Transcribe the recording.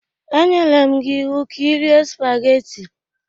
E nyere m gi iwu ka irie sụpagheti!